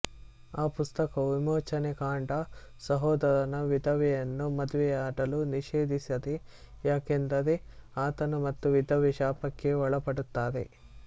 ಆ ಪುಸ್ತಕವು ವಿಮೋಚನೆಕಾಂಡ ಸಹೋದರನ ವಿಧವೆಯನ್ನು ಮದುವೆಮಾಡಲು ನಿಷೇಧಿಸಿದೆ ಯಾಕೆಂದರೆ ಆತನು ಮತ್ತು ವಿಧವೆ ಶಾಪಕ್ಕೆ ಒಳಪಡುತ್ತಾರೆ